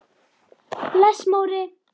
Bless Móri!